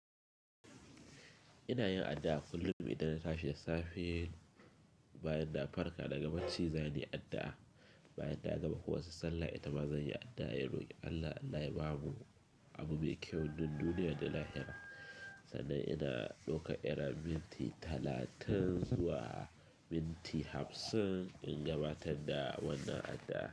Ina yin addu'a kullum idan na tashi da safe, bayan na farka daga bacci zanayi addu'a, bayan na gama kowace sallah itama zanyi addu'a, in roki Allah "Allah bamu abu mai kyau duk duniya da lahira", sannan ina daukar irin minti talatin zuwa minti hamsin in gabatar da wannan addu'a.